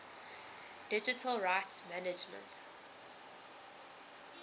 digital rights management